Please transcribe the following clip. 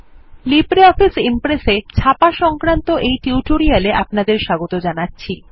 LibreOffice Impress এ ছাপা সংক্রান্ত টিউটোরিয়ালে আপনাদের স্বাগত জানাচ্ছি